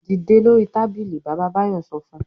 "Dìde lórí tábìlì! Bàbá Báyọ̀ sọ fún un.